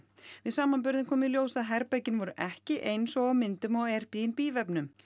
við samanburðinn kom í ljós að herbergin voru ekki eins og á myndunum á Airbnb vefnum